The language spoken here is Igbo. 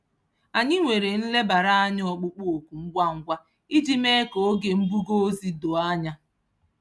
Anyị nwere nlebara anya ọkpụkpụ oku ngwa ngwa iji mee ka oge mbuga ozi doo anya.